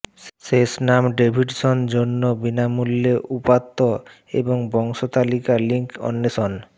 শেষ নাম ডেভিডসন জন্য বিনামূল্যে উপাত্ত এবং বংশতালিকা লিঙ্ক অন্বেষণ